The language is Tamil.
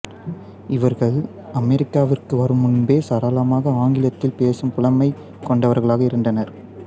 இவர்கள் அமெரிக்காவிற்கு வரும் முன்பே சரளமாக ஆங்கிலத்தில் பேசும் புலமை கொண்டவர்களாக இருந்தனர்